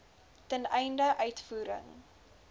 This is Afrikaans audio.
ten einde uitvoering